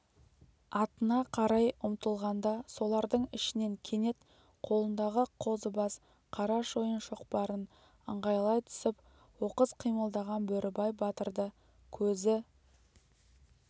атына қарай ұмтылғанда солардың ішінен кенет қолындағы қозыбас қара шойын шоқпарын ыңғайлай түсіп оқыс қимылдаған бөрібай батырды көзі